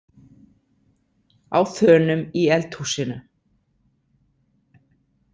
Á þönum í eldhúsinu.